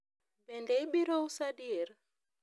bende ibiro uso adier?